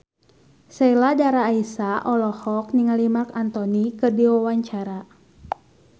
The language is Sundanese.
Sheila Dara Aisha olohok ningali Marc Anthony keur diwawancara